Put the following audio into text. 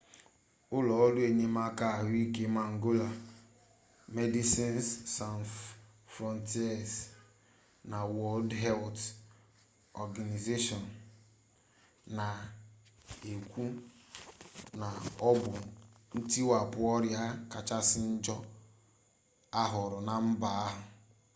ụlọ ọrụ enyemaka ahụike mangola 'medecines sans frontieres' na wọld helt ọganaịzeshọn na-ekwụ na ọ bụ ntiwapụ ọrịa kachasị njọ ahụrụla na mba ahụ